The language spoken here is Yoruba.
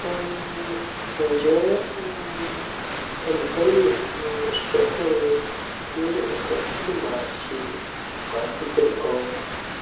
um nje um enikan le um sofun mi ni ikan ti ma se ma dupe gan